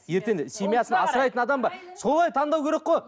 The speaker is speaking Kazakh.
ертең семьясын асырайтын адам ба солай таңдау керек қой